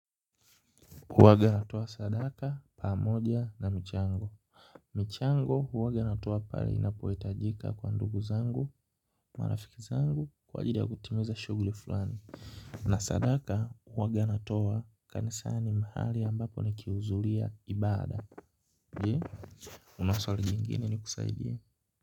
Huwaga natoa sadaka, pamoja na michango. Michango huwaga natoa pale inapohitajika kwa ndugu zangu, marafiki zangu, kwa ajili ya kutimiza shuguli fulani. Na sadaka huwaga natowa kanisani mahali ambapo ni kihuzuria ibada. Je, una swali nyingine ni kusaidie.